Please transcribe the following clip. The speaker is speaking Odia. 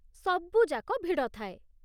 ସବୁଯାକ ଭିଡ଼ ଥାଏ ।